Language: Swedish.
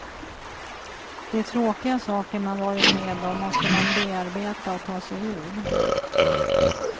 De tråkiga saker man varit med om måste man bearbeta och ta sig ur.